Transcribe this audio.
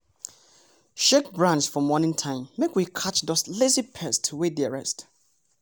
shake branch for morning time make we catch those lazy pests wey dey rest.